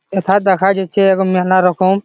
এথা দেখা যাচ্ছে এগো মেলা রকম ।